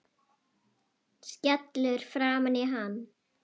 Skellur framan í hann.